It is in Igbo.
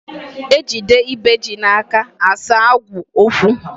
Ejide ibe ji n'aka, a saa agụụ okwu.